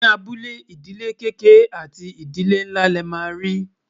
ní abúlé, ìdílé kéké àti nínlá lè má ri